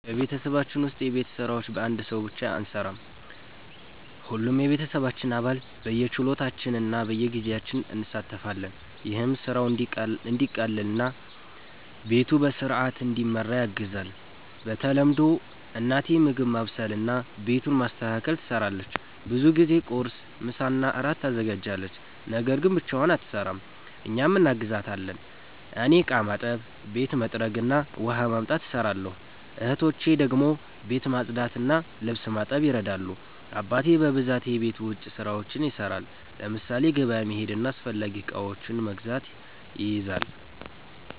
በቤተሰባችን ውስጥ የቤት ስራዎች በአንድ ሰው ብቻ አንሠራም። ሁሉም የቤተሰባችን አባል በየችሎታችን እና በጊዜያችን እንሣተፋለን። ይህም ስራው እንዲቀላቀል እና ቤቱ በሥርዓት እንዲመራ ያግዛል። በተለምዶ እናቴ ምግብ ማብሰልና ቤቱን ማስተካከል ትሰራለች። ብዙ ጊዜ ቁርስ፣ ምሳና እራት ታዘጋጃለች። ነገር ግን ብቻዋን አትሰራም፤ እኛም እናግዛታለን። እኔ እቃ ማጠብ፣ ቤት መጥረግ እና ውሃ ማምጣት እሰራለሁ። እህቶቼ ደግሞ ቤት ማጽዳትና ልብስ ማጠብ ይረዳሉ። አባቴ በብዛት የቤት ውጭ ስራዎችን ይሰራል፤ ለምሳሌ ገበያ መሄድና አስፈላጊ እቃዎችን መግዛት ይይዛል።